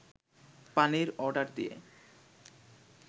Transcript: পানির অর্ডার দিয়ে